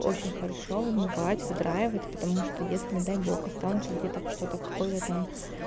очень хорошо вымывать выдраивать потому что если не дай бог останутся где-то что-то какой-то там